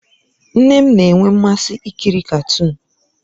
Nne m na-enwe mmasị ikiri katuun